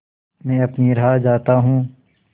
मैं अपनी राह जाता हूँ